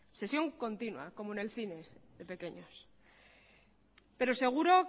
sección continua como en el cine de pequeños pero seguro